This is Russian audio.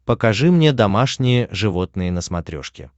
покажи мне домашние животные на смотрешке